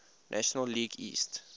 national league east